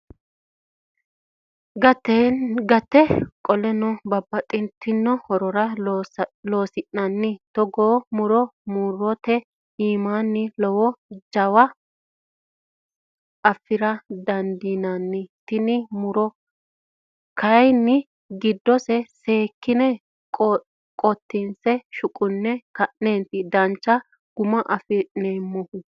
Gatenni qolle babbaxxitino horora loonsanni togo muro murote iimini laalo jawa affira dandiinanni tene muro kayinni giddose seekkine qotinse shuqune ka'neti dancha guma affi'nanihu.